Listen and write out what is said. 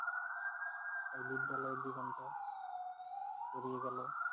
তাই বিদ্যালয়ের জীবনটা ফুরিয়ে গেল।